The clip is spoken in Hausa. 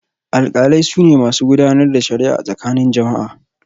Alkalai su ne masu gudanar da shari'a a tsakanin jama'a.